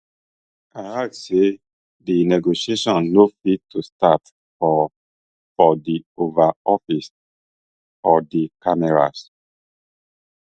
im add say di negotiation no fit to start for for di oval office for di cameras